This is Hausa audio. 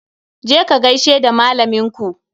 Je ka ka gaishe da malaminku